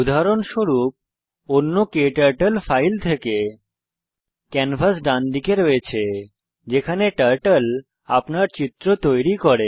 উদাহরণস্বরূপ অন্য turtle file থেকে ক্যানভাস ডানদিকে আছে যেখানে টার্টল আপনার চিত্র তৈরী করে